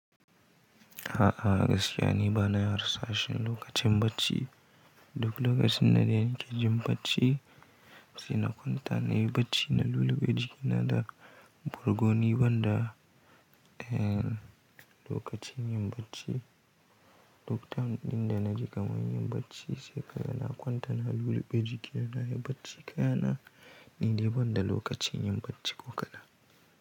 A'a gaskiya ni bana harsashin lokacin bacci. Duk lokacin da zan ke jin bacci sai na kwanta nayi bacci na luluɓe jikina da burgoni banda, eh, lokacin yin bacci. Duk time ɗin da na ji kamar yin bacci sai ka ga na kwanta na luluɓe jikina nayi bacci kaya na niɗai banda lokacin yin bacci ko kadan.